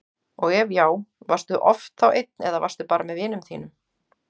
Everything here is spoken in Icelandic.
og ef já, varstu oft þá einn eða varstu bara með vinum þínum?